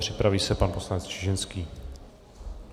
Připraví se pan poslanec Čižinský.